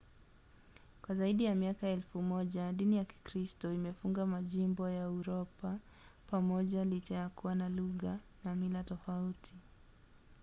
kwa zaidi ya miaka elfu moja dini ya kikristo imefunga majimbo ya uropa pamoja licha ya kuwa na lugha na mila tofauti. i